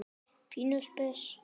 Pínu spes.